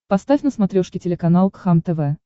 поставь на смотрешке телеканал кхлм тв